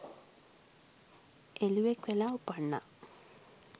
එළුවෙක් වෙලා උපන්නා.